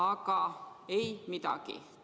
Aga ei midagi!